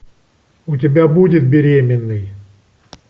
у тебя будет беременный